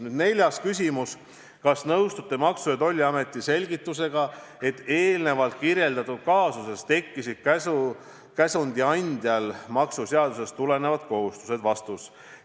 Nüüd neljas küsimus: "Kas nõustute Maksu- ja Tolliameti selgitusega, et eelnevalt kirjeldatud kaasuses tekkisid käsundi andjal maksuseadusest tulenevad kohustused?